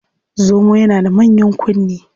Zomo yana da manyan kunne.